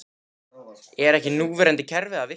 Er ekki núverandi kerfi að virka?